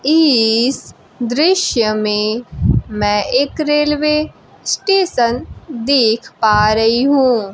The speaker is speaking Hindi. इस दृश्य में मैं एक रेलवे स्टेशन देख पा रही हूं।